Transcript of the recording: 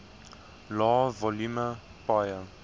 lae volume paaie